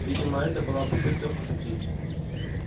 видимо это была попытка пошутить